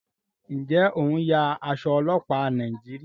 njé o ń ya Aṣọ ọlọpa Nàìjíríà?